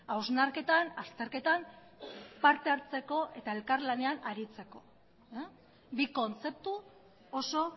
hausnarketan azterketan parte hartzeko eta elkarlanean aritzeko bi kontzeptu oso